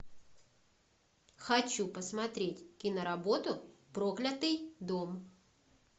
хочу посмотреть киноработу проклятый дом